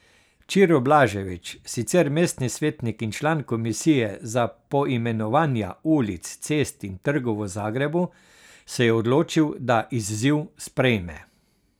Ćiro Blažević, sicer mestni svetnik in član komisije za poimenovanja ulic, cest in trgov v Zagrebu, se je odločil, da izziv sprejme.